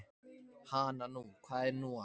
Hana nú, hvað er nú að.